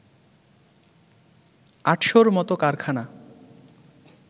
আটশোর মত কারখানা